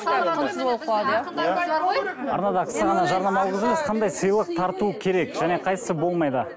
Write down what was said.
қандай сыйлық тарту керек және қайсысы болмайды